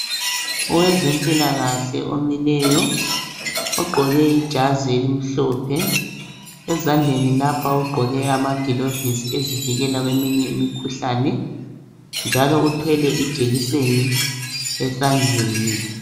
Owezempilakahle omileyo ogqoke ijazi elimhlophe. Ezandleni lapha ugqoke amagilovisi ezivikela kweminye imikhuhlane njalo uthwele ijekiseni esandleni.